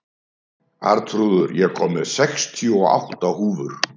Arnþrúður, ég kom með sextíu og átta húfur!